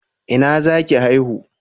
Ina zaki haihu?